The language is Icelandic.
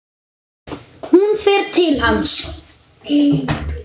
Hún fer til hans.